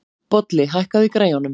Bolli, hækkaðu í græjunum.